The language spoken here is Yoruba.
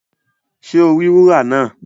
Ṣe o ri wúrà náà?